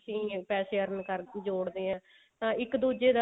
ਅਸੀਂ ਪੈਸੇ earn ਜੋੜਦੇ ਹਾਂ ਤਾਂ ਇੱਕ ਦੁੱਜੇ